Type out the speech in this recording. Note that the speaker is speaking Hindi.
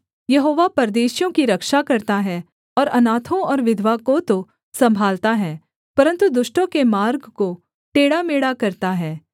यहोवा परदेशियों की रक्षा करता है और अनाथों और विधवा को तो सम्भालता है परन्तु दुष्टों के मार्ग को टेढ़ामेढ़ा करता है